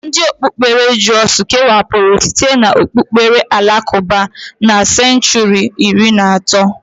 Ndi okpukpere drụz kewapuru site n'okpukpere alakụba na senchuri iri na otu.